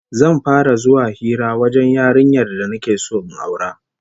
Zan fara zuwa hira wajen yarinyar da nake so in aura